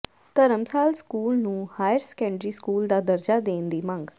ਧਰਮਸਾਲ school ਨੂੰ higher secondary school ਦਾ ਦਰਜਾ ਦੇਣ ਦੀ ਮੰਗ